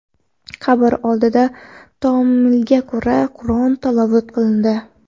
Qabr oldida taomilga ko‘ra, Qur’on tilovat qilindi.